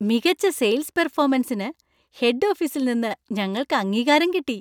മികച്ച സെയിൽസ് പെർഫോമൻസിന്‌ ഹെഡ് ഓഫീസിൽ നിന്ന് ഞങ്ങൾക്ക് അംഗീകാരം കിട്ടി.